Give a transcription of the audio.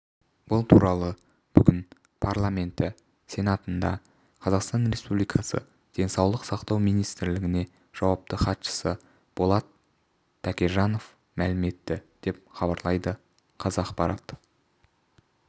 бұл туралы бүгін парламенті сенатында қазақстан республикасы денсаулық сақтау министрлігіні жауапты хатшысы болат төкежанов мәлім етті деп хабарлайды қазақпарат